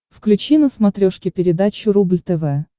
включи на смотрешке передачу рубль тв